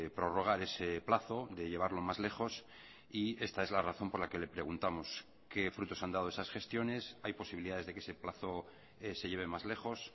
prorrogar ese plazo de llevarlo más lejos y esta es la razón por la que le preguntamos qué frutos han dado esas gestiones hay posibilidades de que ese plazo se lleve más lejos